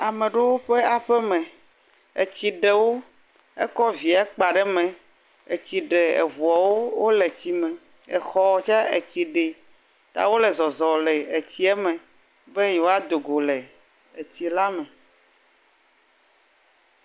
Ame ɖewo ƒe aƒe me, etsi ɖe wo, ekɔ vie kpa ɖe me, etsi ɖe eŋuɔwo wole etsi me, ta wole zɔzɔm le etsie me be yewoado go le etsi la me.